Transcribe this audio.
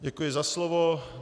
Děkuji za slovo.